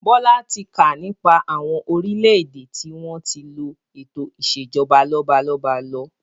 Bọlá tí kà nípa àwọn orílédé tí wọn tí lo eto ìsèjọba lọ́balọ́ba lọ.